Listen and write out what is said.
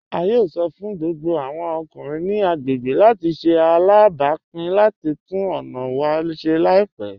A yóò sọ́ fún gbogbo awọn ọkùnrin ni agbegbé láti ṣè alábápìn láti túnn ọna wa ṣè laipẹ.